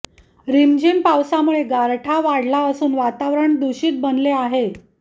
रिमझिम पावसामुळे गारठा वाढला असून वातावरण दूषित बनले आहे